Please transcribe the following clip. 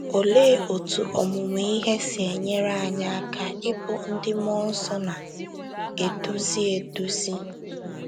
Olee otú ọmụmụ ihe si enyere anyị aka ịbụ ndị mmụọ nsọ na - eduzi eduzi?